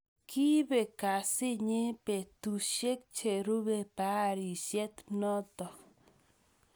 Kiipek kasiit nyi peetusiek cheruube baarisiet nootok